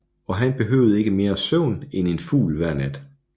Og han behøvede ikke mere søvn end en fugl hver nat